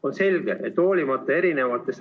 On selge, et hoolimata abimeetmetest ...